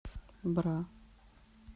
бра